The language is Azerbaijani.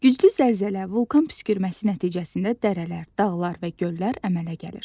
Güclü zəlzələ, vulkan püskürməsi nəticəsində dərələr, dağlar və göllər əmələ gəlir.